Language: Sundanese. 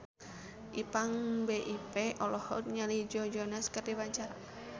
Ipank BIP olohok ningali Joe Jonas keur diwawancara